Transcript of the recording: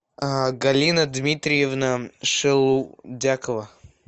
галина дмитриевна шелудякова